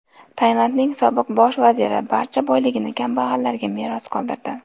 Tailandning sobiq bosh vaziri barcha boyligini kambag‘allarga meros qoldirdi.